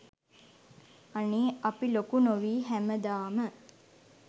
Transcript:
අනේ අපි ලොකු නොවී හැමදාම